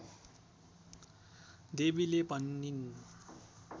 देवीले भनिन्